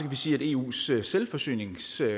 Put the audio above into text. man sige at eus selvforsyningsgrad